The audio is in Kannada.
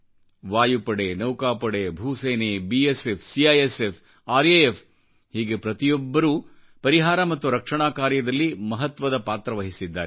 ವಾಯುಪಡೆ ನೌಕಾಪಡೆ ಭೂಸೇನೆ ಬಿಎಸ್ಎಫ್ ಸಿಐಎಸ್ಎಫ್ ಆರ್ಎಎಫ್ಹೀಗೆ ಪ್ರತಿಯೊಬ್ಬರೂ ಪರಿಹಾರ ಮತ್ತು ರಕ್ಷಣಾ ಕಾರ್ಯದಲ್ಲಿ ಮಹತ್ವದ ಪಾತ್ರವಹಿಸಿದ್ದಾರೆ